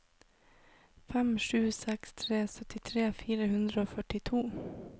fem sju seks tre syttitre fire hundre og førtito